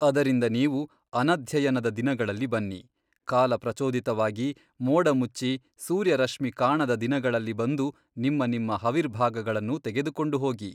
ಅದರಿಂದ ನೀವು ಅನಧ್ಯಯನದ ದಿನಗಳಲ್ಲಿ ಬನ್ನಿ ಕಾಲ ಪ್ರಚೋದಿತವಾಗಿ ಮೋಡಮುಚ್ಚಿ ಸೂರ್ಯರಶ್ಮಿ ಕಾಣದ ದಿನಗಳಲ್ಲಿ ಬಂದು ನಿಮ್ಮ ನಿಮ್ಮ ಹವಿರ್ಭಾಗಗಳನ್ನು ತೆಗೆದುಕೊಂಡು ಹೋಗಿ.